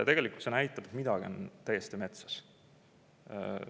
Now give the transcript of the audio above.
Tegelikult see näitab, et midagi on täiesti metsas.